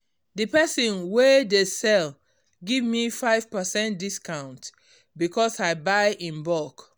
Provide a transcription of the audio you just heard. d person wey dey sell give me 5 percent discount because i buy in bulk